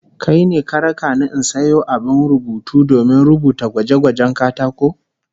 Kai ne ka raka ni in sayo abin rubutu domin rubuta gwaje-gwajen katako?